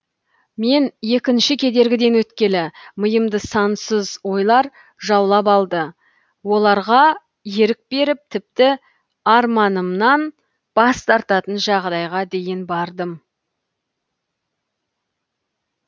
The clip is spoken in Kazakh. мен екінші кедергіден өткелі миымды сансыз ойлар жаулап алды оларға ерік беріп тіпті арманымнан бас тартатын жағдайға дейін бардым